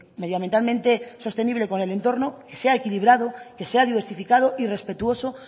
medioambientalmente sostenible con el entorno que sea equilibrado que sea diversificado y respetuoso